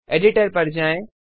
editor पर जाएँ